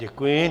Děkuji.